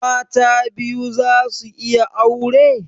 Mata biyu za su iya aure?